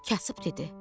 Kasıb dedi: